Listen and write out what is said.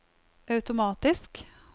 automatisk